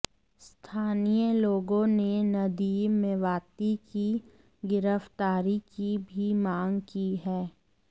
स्थानीय लोगों ने नदीम मेवाती की गिरफ्तारी की भी माँग की है